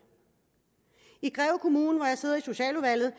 i greve kommune hvor jeg sidder i socialudvalget